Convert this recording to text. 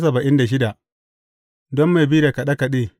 Don mai bi da kaɗe kaɗe.